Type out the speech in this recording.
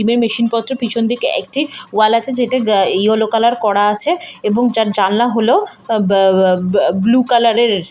Gym এর machine পত্র পিছন দিকে একটি ওয়াল আছে যেটা যা ইয়েলো কালার করা আছে এবং যার জানলা হল আ-বা-বা-বা-ব্লু কালার এর।